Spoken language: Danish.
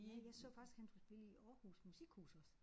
Ja jeg så faktisk han skulle spille i Aarhus Musikhus også